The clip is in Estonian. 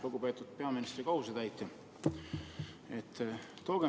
Lugupeetud peaministri kohusetäitja!